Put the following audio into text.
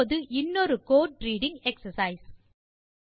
இப்போது இன்னொரு கோடு ரீடிங் எக்ஸர்சைஸ்